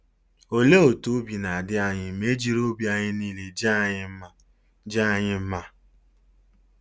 Olee otú obi na-adị anyị ma e jiri obi anyị niile jaa anyị mma jaa anyị mma?